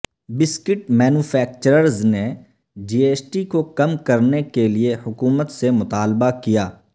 biscuit manufacturers نے G S T کو کم کرنے کے لئے حکومت سے مطالبہ کیا